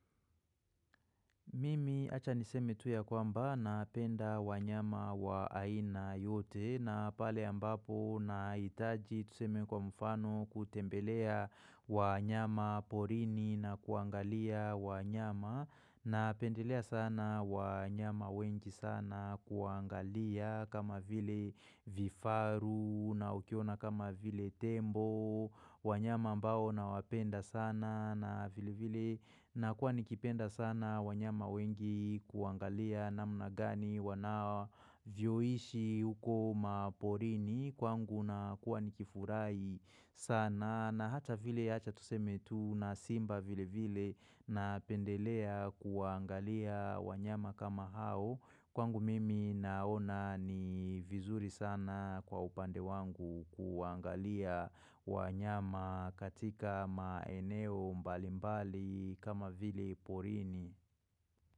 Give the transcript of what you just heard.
Mimi acha niseme tu kwamba napenda wanyama wa aina yote na pale ambapo nahiitaji tuseme kwa mfano kutembelea. Wanyama porini na kuangalia wanyama napendelea sana wanyama wengi sana kuwaangalia kama vile vifaru na ukiona kama vile tembo. Wanyama ambao nawapenda sana na vile vile na kuwa nikipenda sana wanyama wengi kuangalia namna gani wanao wanavyoishi huko maporini kwangu na kuwa nikifurai sana na hata vile acha tuseme tu na simba vile vile napendelea kuwaangalia wanyama kama hao Kwangu mimi naona ni vizuri sana kwa upande wangu kuwaangalia wanyama katika maeneo mbalimbali kama vile porini.